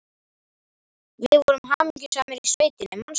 Við vorum hamingjusamar í sveitinni, manstu.